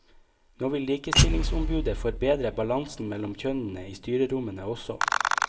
Nå vil likestillingsombudet forbedre balansen mellom kjønnene i styrerommene også.